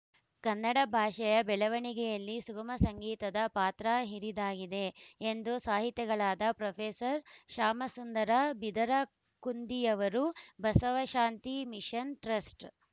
ಕನ್ನಡ ಭಾಷೆಯ ಬೆಳವಣಿಗೆಯಲ್ಲಿ ಸುಗಮ ಸಂಗೀತದ ಪಾತ್ರ ಹಿರಿದಾಗಿದೆ ಎಂದು ಸಾಹಿತಿಗಳಾದ ಪ್ರೊಫೆಸರ್ ಶ್ಯಾಮಸುಂದರ ಬಿದರಕುಂದಿಯವರು ಬಸವಶಾಂತಿ ಮಿಷನ್ ಟ್ರಸ್ಟ